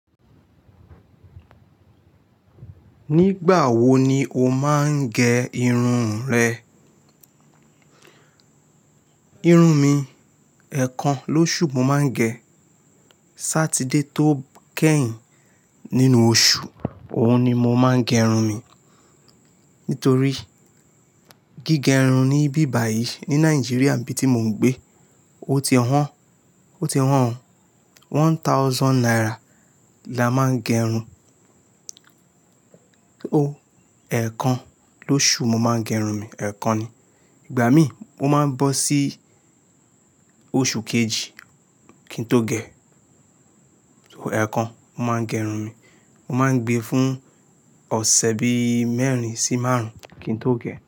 Nígbà wo ni o máa ń gẹ irun rẹ? Irun mi, ẹ̀ẹ̀kan lóṣù mo máa ń gẹ. Sátidé tó kẹ́yìn nínú oṣù, òun ni mo máa ń gẹ irun mi. Nítorí gígẹ irun níbí báyìí ní Nàìjíríà níbi tí mo ń gbé, ó ti wọ́n, ó ti wọ́n. One thousand naira la máa ń gẹ irun. Ẹ̀ẹ̀kan lóṣù mo máa ń gẹ irun mi. Ẹ̀ẹ̀kan ni. Ìgbà mí, ó máa ń bọ́ sí oṣù kejì kí n tó gẹ. So ẹ̀ẹ̀kan mo máa ń gẹ irun mi. Mo máa ń gbé fún ọ̀sẹ̀ bí mẹ́rin sí márùn-ún kí n tó gẹ.